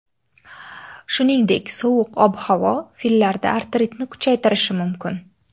Shuningdek, sovuq ob-havo fillarda artritni kuchaytirishi mumkin.